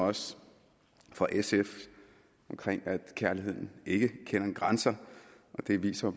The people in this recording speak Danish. også fra sf at kærligheden ikke kender grænser det viser